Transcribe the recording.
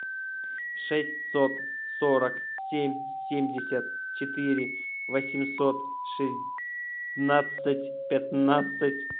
шестьсот сорок семь семьдесят четыре восемьсот шестнадцать пятнадцать